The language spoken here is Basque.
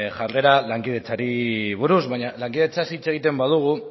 jarrera lankidetzari buruz baina lankidetzaz hitz egiten badugu